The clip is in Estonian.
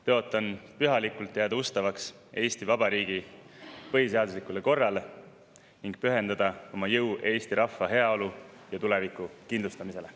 Tõotan pühalikult jääda ustavaks Eesti Vabariigi põhiseaduslikule korrale ning pühendada oma jõu eesti rahva heaolu ja tuleviku kindlustamisele.